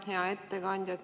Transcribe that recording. Hea ettekandja!